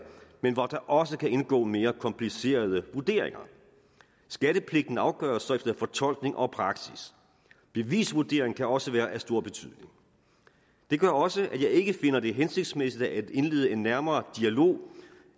men hvor der også kan indgå mere komplicerede vurderinger skattepligten afgøres så efter fortolkning og praksis bevisvurdering kan også være af stor betydning det gør også at jeg ikke finder det hensigtsmæssigt at indlede en nærmere dialog